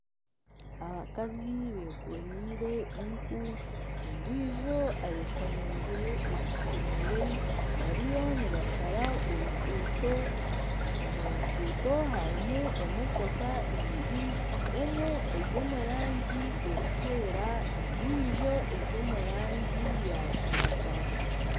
Abakazi bekoreire enku ondiijo ayekoreire ekitemere bariyo nibashara oruguuto omu nguuto harimu emotoka ibiri emwe eri omu rangi erikwera endiijo eri omu rangi ya kitaka.